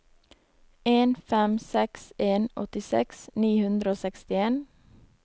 en fem seks en åttiseks ni hundre og sekstien